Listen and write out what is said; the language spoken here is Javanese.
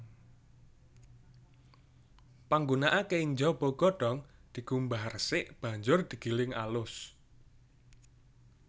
Panggunakané ing jaba godhong dikumbah resik banjur digiling alus